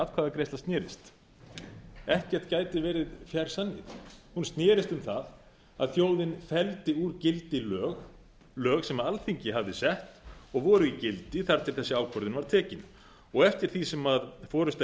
atkvæðagreiðsla snerist ekkert gæti verið fjær sanni hún snerist um það að þjóðin felldi úr gildi lög sem alþingi hafði sett og voru í gildi þar til þessi ákvörðun var tekin og eftir því sem forusta